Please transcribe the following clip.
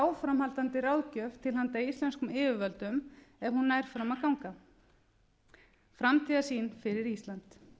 áframhaldandi ráðgjöf til handa íslenskum yfirvöldum ef hún nær fram að ganga framtíðarsýn fyrir ísland